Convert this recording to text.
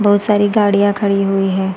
बहुत सारी गाड़ियाँ खड़ी हुई हैं।